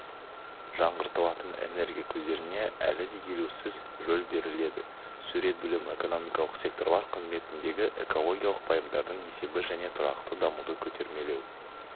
жаңғыртылатын энергия көздеріне әлі де елеусіз рөл беріледі сурет бөлім экономикалық секторлар қызметіндегі экологиялық пайымдардың есебі және тұрақты дамуды көтермелеу